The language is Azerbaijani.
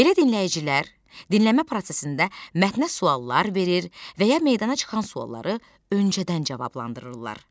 Belə dinləyicilər dinləmə prosesində mətnə suallar verir və ya meydana çıxan sualları öncədən cavablandırırlar.